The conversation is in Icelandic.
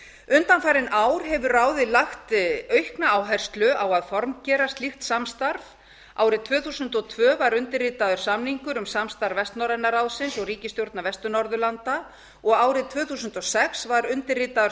undanfarin ár hefur ráðið lagt aukna áherslu á að formgera slíkt samstarf árið tvö þúsund og tvö var undirritaður samningur um samstarf vestnorræna ráðsins og ríkisstjórna vestur norðurlanda og árið tvö þúsund og sex var undirritaður